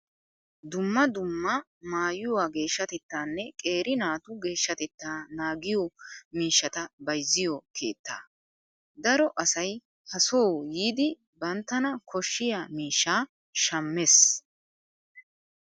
Dumma dumma maayyuwaa geshshatettaanne qeeri naatu geeshshatetta naagiyoo miishshata bayizziyoo keettaa. Daro asayi ha soo yiidi banttana koshshiyaa miishshaa shammes.